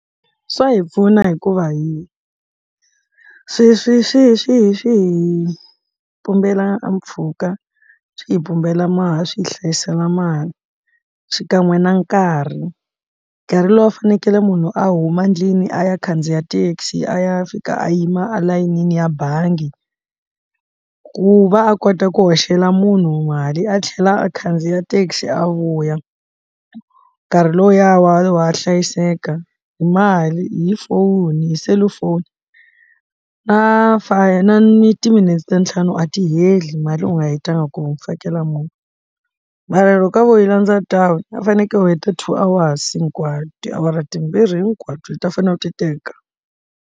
Swa hi pfuna hikuva hi swi swi swi swi swi hi pumbela a mpfhuka xi hi pumbela mahala swi hi hlayisela mali xikan'we na nkarhi nkarhi lowu a fanekele munhu a huma endlwini a ya khandziya thekisi a ya fika a yima alayinini ya bangi ku va a kota ku hoxela munhu mali a tlhela a khandziya thekisi a vuya nkarhi lowu ya wa wa hlayiseka hi mali hi foni hi selufoni na fa na ni timinete ta ntlhanu a ti heli mali u nga yi tlanga ku tsakela munhu mara loko ka vo yi landza than a fanekele u heta two hours hinkwato tiawara timbirhi hinkwabyo byi ta fanele u ti teka.